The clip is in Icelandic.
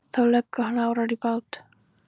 Þá leggur hann árar í bát.